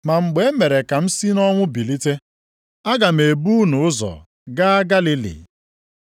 Ma mgbe e mere ka m si nʼọnwụ bilite, aga m ebu unu ụzọ gaa Galili.”